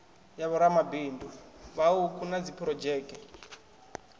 ya vhoramabindu vhauku na dziphurodzheke